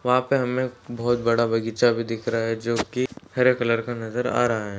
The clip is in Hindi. वहाँ पे हमे एक बहुत बड़ा बगीचा भी दिख रहा जो की हरे कलर का नजर आ रहा है।